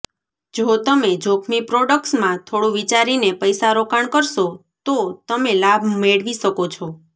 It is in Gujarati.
જો તમે જોખમી પ્રોજેક્ટ્સમાં થોડું વિચારીને પૈસા રોકાણ કરશો તો તમે લાભ મેળવી શકો છો